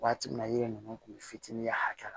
Waati min na yiri ninnu kun bɛ fitinin ye a kɛ la